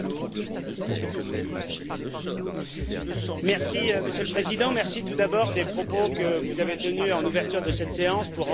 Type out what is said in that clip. Monsieur le Président, merci tout d'abord des propos que vous avez tenus en ouverture de cette séance pour rendre hommage à notre regretté collègue, Édouard Ferrand.